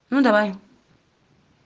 ну давай